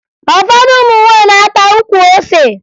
Ụfọdụ ụmụ nwaanyị na-akpa ukwu ose